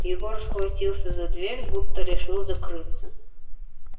егор схватился за дверь будто решил закрыться